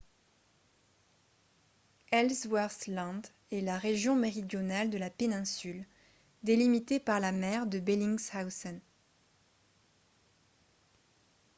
ellsworth land est la région méridionale de la péninsule délimitée par la mer de bellingshausen